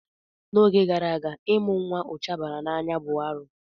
N'oge gara aga, ịmụ nwa ụcha bara n'anya bụ arụ.